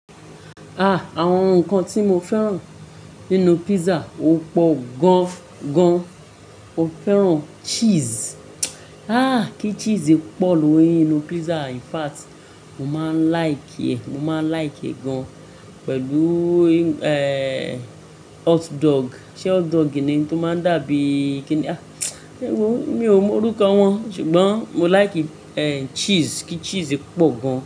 Ah! Àwọn nǹkan tí mo fẹ́ràn nínú pizza ó pọ̀ gan-gan. Mo fẹ́ràn cheese. Ah! Kí cheese pọ̀ lórí inú pizza yen in fact, mo máa ń like, mo máa ń like e gan pẹ̀lú, eeh, hot dog. Ṣé hot dog ni ohun tó máa ń dàbí kí ni? Èwo mi ò mọ orúkọ wọn, ṣùgbọ́n mo like kí chess pọ̀ gan.